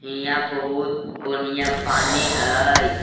हियाँ बहुत बढ़िया पानी हई।